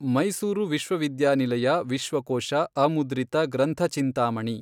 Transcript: ಮೈಸೂರು ವಿಶ್ವವಿದ್ಯಾನಿಲಯ ವಿಶ್ವಕೋಶ ಅಮುದ್ರಿತ ಗ್ರಂಥಚಿಂತಾಮಣಿ